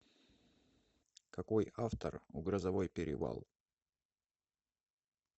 какой автор у грозовой перевал